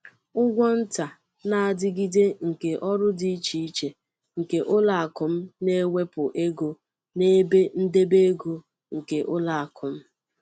Ụgwọ nta na-adigide nke ọrụ di íchè iche nke ụlọakụ m na-ewepu ego n'ebe ndebe ego nke ụlọakụ m.